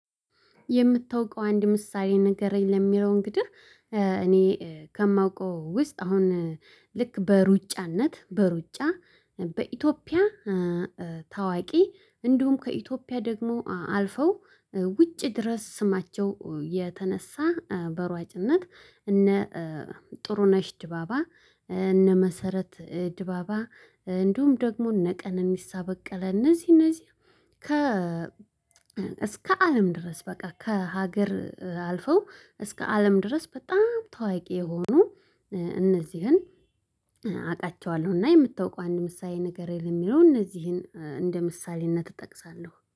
የምታውቀውን አንድ ምሳሌ ንገረኝ? ለሚለው እንግዲህ እኔ ከማውቀው ውስጥ አሁን ልክ በሩጫነት በሩጫ በኢትዮጵያ ታዋቂ እንዲሁም ከኢትዮጵያ ደግሞ አልፈው ውጭ ድረስ ስማቸው የተነሳ በሯጭነት እነ ጥሩ ነሽ ድባባ እነ መሰረት ድባባ እንዲሁም ደግሞ እነ ቀነኒሳ በቀለ እነዚህ እነዚህ ከ እስከ አለም ድረስ በቃ ከሀገር አልፈው እስከ አለም ድረስ በጣም ታዋቂ የሆኑ እነዚህን አውቃቸዋለሁ እና የምታውቀው አንድ ምሳሌ ነገር የለም የሚለው እነዚህን እንደ ምሳሌነት እጠቅሳለሁ።